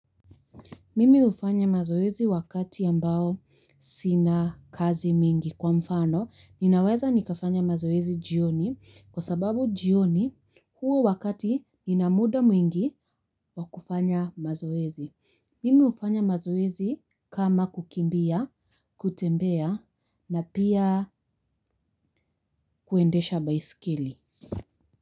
Mimi hufanya mazoezi wakati ambao sina kazi mingi kwa mfano. Ninaweza nikafanya mazoezi jioni kwa sababu jioni huo wakati nina muda mwingi wa kufanya mazoezi. Mimi hufanya mazoezi kama kukimbia, kutembea na pia kuendesha baisikeli.